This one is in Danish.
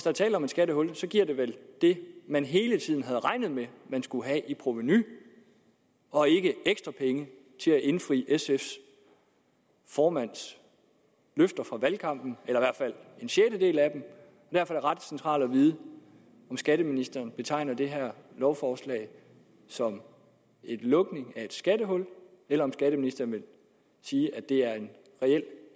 er tale om et skattehul giver det vel det man hele tiden havde regnet med at man skulle have i provenu og ikke ekstra penge til at indfri sfs formands løfter fra valgkampen eller i hvert fald en sjettedel af dem i hvert fald ret centralt at vide om skatteministeren betegner det her lovforslag som lukning af et skattehul eller om skatteministeren vil sige at det er en reel